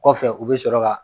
Kɔfɛ u bɛ sɔrɔ ka